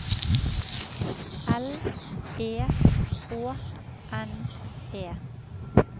L E H N E